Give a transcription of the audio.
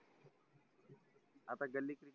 आता गल्ली cricket